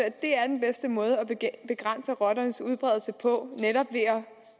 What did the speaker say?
at det er den bedste måde at begrænse rotternes udbredelse på netop ved at